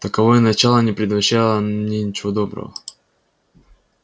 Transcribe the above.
таковое начало не предвещало мне ничего доброго